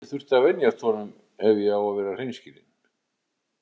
Ég þurfti að venjast honum ef ég á að vera hreinskilinn.